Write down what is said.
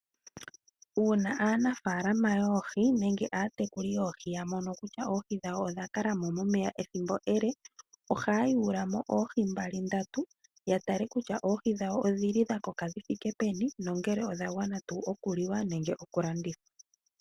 Uuna aanafaalama yoohi nenge aatekulu yoohi ya mono kutya oohi dhawo odha kala mo momeya ethimbo ele